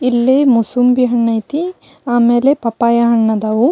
ಇಲ್ಲೇ ಮುಸುಂಬಿ ಹಣ್ಣು ಐತಿ ಆಮೇಲೆ ಪಪ್ಪಾಯ ಹಣ್ಣು ಆದವು.